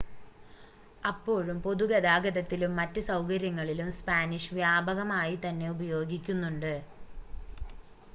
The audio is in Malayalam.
അപ്പോഴും പൊതുഗതാഗതത്തിലും മറ്റ് സൗകര്യങ്ങളിലും സ്പാനിഷ് വ്യാപകമായി തന്നെ ഉപയോഗിക്കുന്നുണ്ട്